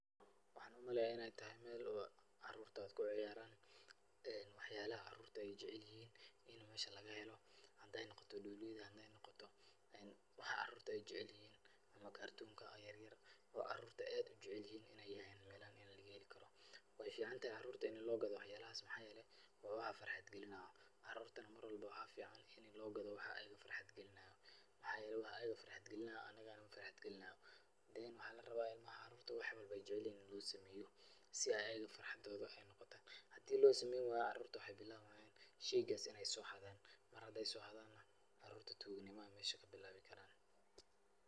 Waxaan u maleeyaa in ay tahay meel oo caruurtaad ku ciyaaraan. Wax yaalaha caruurta ay jecalihiin in meesha laga helo haday noqoto dhooliyadan, hadaay noqoto wax caruurta ay jecalihiin ama kartunka yeryer oo caruurta aad u jecalihiin in ay yihiin meelahan meel laga heli karo. Waay ficaantahay caruurta in loo gado wax yaala haas. Maxaa yeelay waa wax farxad gelinaa. Carurtana mar walbo waxaa ficaan inay loo gado wax ayiga farxad gelinaayo. Maxaa yeelay waxa ayiga farxad gelinaayo anigana na farxad gelinaayo. then waxaa la rabaa ilmaha caruurta wax walba ay jeceylyihiin in loo sameeyo si ay ayiga farxadooda ay unoqoto. Hadii loo sameyn waayo caruurta waxaay bilaabaayaan shaygas in ay soo xadaan. Mar haday soo xadaana caruurta tuuga nimo ayay meesha ka bilaabi karaan.